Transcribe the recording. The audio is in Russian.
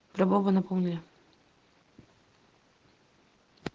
любого напомнили